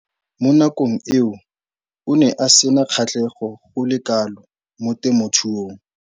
Mo nakong eo o ne a sena kgatlhego go le kalo mo temothuong.